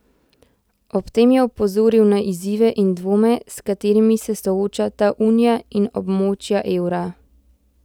Ob tem je opozoril na izzive in dvome, s katerimi se soočata unija in območja evra.